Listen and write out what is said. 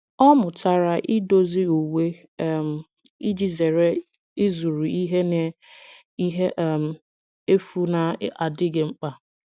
Ọ mụtara idozi uwe um iji zere ịzụrụ ihe na ihe um efu na-adịghị mkpa.